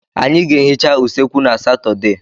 Anyị ga-ehicha usekwu na Satọde.